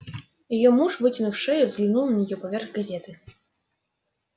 её муж вытянув шею взглянул на неё поверх газеты